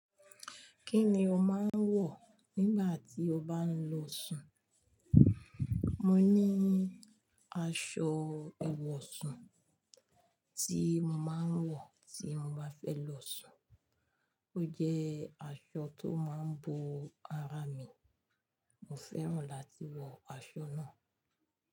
Kí ni o máa ń wọ̀ nígbà tí o bá ń lọ sùn? Mo ní aṣọ ẹ̀wọ̀sùn tí mo máa ń wọ̀ tí mo bá fẹ́ lọ sùn. Ó jẹ́ aṣọ tó máa ń bo ara mi. Mo fẹ́ràn láti wọ aṣọ náà.